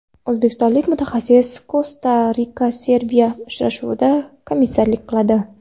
O‘zbekistonlik mutaxassis Kosta-RikaSerbiya uchrashuvida komissarlik qiladi.